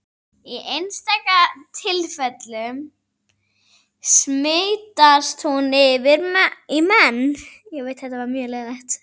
Í einstaka tilfellum smitast hún yfir í menn.